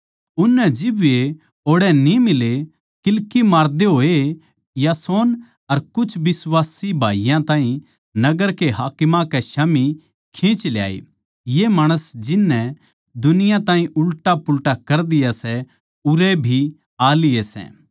उननै जिब वे ओड़ै न्ही मिले तो वे किल्की मारदे होए यासोन अर कुछ बिश्वासी भाईयाँ ताहीं नगर के हाकिमां कै स्याम्ही खींच ल्याए ये माणस जिन नै दुनिया ताहीं उल्टापुल्टा कर दिया सै उरै भी आ लिए सै